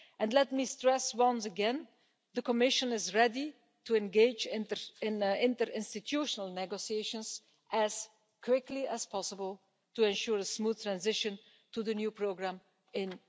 Let me stress once again that the Commission is ready to engage in interinstitutional negotiations as quickly as possible to ensure a smooth transition to the new programme in